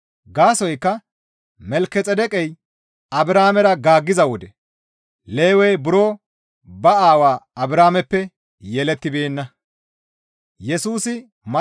Gaasoykka Malkexeedeqey Abrahaamera gaaggiza wode Lewey buro ba aawaa Abrahaameppe yelettibeenna.